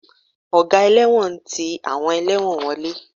Ọ̀gá ẹlẹ́wọ̀n ń ti àwọn ẹlẹ́wọ̀n wọlé